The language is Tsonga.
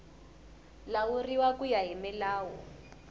lawuriwa ku ya hi milawu